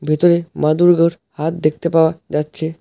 ভেতরে মা দুর্গার হাত দেখতে পাওয়া যাচ্ছে।